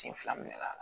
Sen fila minɛ k'a la